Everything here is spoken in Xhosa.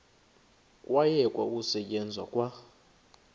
kwayekwa ukusetyenzwa kwa